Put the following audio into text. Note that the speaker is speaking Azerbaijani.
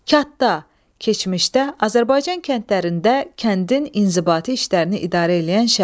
Kətxuda, keçmişdə Azərbaycan kəndlərində kəndin inzibati işlərini idarə eləyən şəxs.